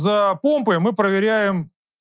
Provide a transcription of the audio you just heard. за помпы мы проверяем